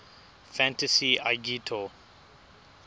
fantasy agito xiii